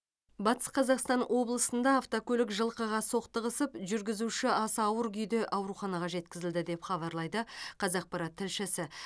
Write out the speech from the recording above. батыс қазақстан облысында автокөлік жылқыға соқтығысып жүргізуші аса ауыр күйде ауруханаға жеткізілді деп хабарлайды қазақпарат тілшісі